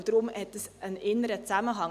Deshalb hat dies einen inneren Zusammenhang.